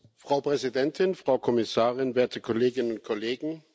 Frau Präsidentin, Frau Kommissarin, werte Kolleginnen und Kollegen!